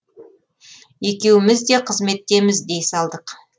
екеуміз де қызметтеміз дей салдық